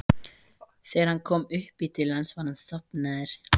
Þegar hún kom upp í til hans var hann sofnaður.